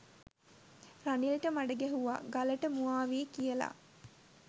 රනිල්ට මඩ ගැහුවා 'ගලට මුවා වී' කියලා.